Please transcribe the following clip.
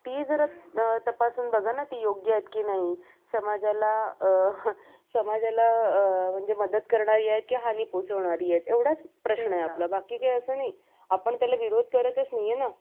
आपण त्याला विरोध करतच नाहीये ना